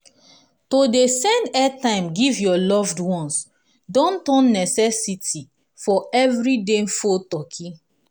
to dey send airtime give your loved onces don turn necesity for everyday phone talky